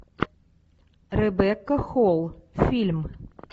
ребекка холл фильм